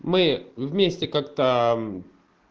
мы вместе как-то